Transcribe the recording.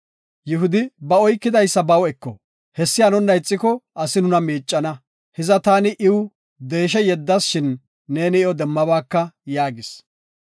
Yihudi, “Ba oykidaysa baw eko, atto giiko, asi nuna miicana. Hiza taani iw deeshe yeddas shin neeni iyo demmabaaka” yaagis.